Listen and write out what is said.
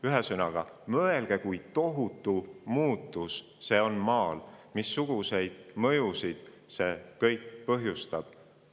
Ühesõnaga, mõelge, kui tohutu muutus see on Maal ja missuguseid mõjusid see kõik põhjustab.